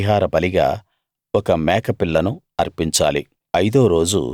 పాప పరిహార బలిగా ఒక మేకపిల్లను అర్పించాలి